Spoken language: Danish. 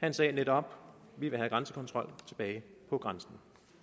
han sagde netop vi vil have grænsekontrollen tilbage på grænsen